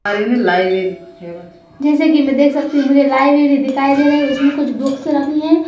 जैसे कि मैं देख सकती हूँ मुझे लाइवेरी दिखाई दे रही है उसमें कुछ बुक्स रखी हैं--